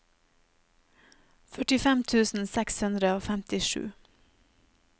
førtifem tusen seks hundre og femtisju